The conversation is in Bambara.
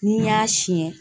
N'i y'a siɲɛ